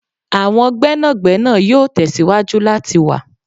Awọn gbénàgbénà yoo tẹsiwaju lati wa'